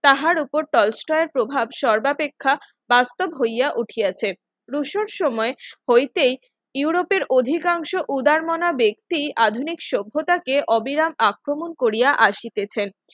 কাহার উপর টলস্টয় এর প্রভাব সর্বাপেক্ষা বাস্তব হইয়া উঠেছে রুশোর সময় হইতেই ইউরোপের অধিকাংশ উদারমনা ব্যক্তি আধুনিক সভ্যতাকে অবিরাম আক্রমণ করিয়া আসিতেছেন